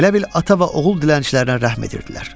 Elə bil ata və oğul dilənçilərinə rəhm edirdilər.